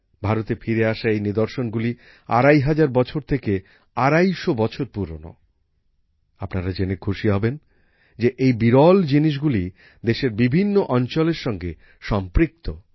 ভারতে ফিরে আসা এই নিদর্শনগুলি ২৫০০ বছর থেকে ২৫০ বছর পুরনো। আপনারা জেনে খুশি হবেন যে এই বিরল জিনিসগুলি দেশের বিভিন্ন অঞ্চলের সঙ্গে সম্পৃক্ত